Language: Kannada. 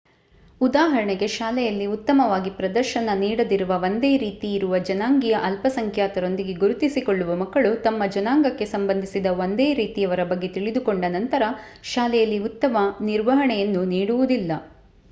ಉದಾಹರಣೆಗೆ ಶಾಲೆಯಲ್ಲಿ ಉತ್ತಮವಾಗಿ ಪ್ರದರ್ಶನ ನೀಡದಿರುವ ಒಂದೇ ರೀತಿಯಿರುವ ಜನಾಂಗೀಯ ಅಲ್ಪಸಂಖ್ಯಾತರೊಂದಿಗೆ ಗುರುತಿಸಿಕೊಳ್ಳುವ ಮಕ್ಕಳು ತಮ್ಮ ಜನಾಂಗಕ್ಕೆ ಸಂಬಂಧಿಸಿದ ಒಂದೇ ರೀತಿಯವರ ಬಗ್ಗೆ ತಿಳಿದುಕೊಂಡ ನಂತರ ಶಾಲೆಯಲ್ಲಿ ಉತ್ತಮ ನಿರ್ವಹಣೆಯನ್ನು ನೀಡುವುದಿಲ್ಲ